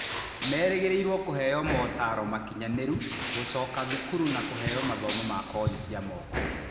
Merĩgĩrĩirwo kũheo motaro makinyanĩru, gũcoka thukuru na kũheo mathomo ma kothi cia moko